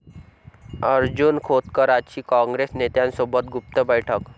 अर्जुन खोतकरांची काँग्रेस नेत्यासोबत गुप्त बैठक